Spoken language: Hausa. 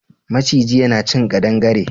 Maciji yana cin ƙadangare.